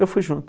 Eu fui junto.